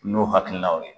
N'o hakilinaw ye